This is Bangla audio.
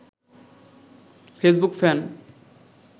Facebook fun